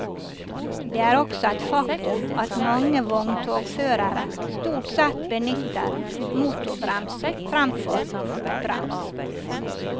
Det er også et faktum at mange vogntogførere stort sett benytter motorbrems fremfor fotbrems.